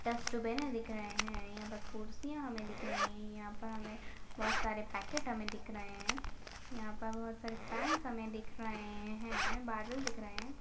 डस्टबिने दिख रहे हैं यहाँ पर कुर्सियां हमें दिख रही है यहाँ पर हमें बहोत सारे पैकेट हमें दिख रहे है यहाँ पर बहोत सारे फैंस हमें दिख रहे है बादल दिख रहे है।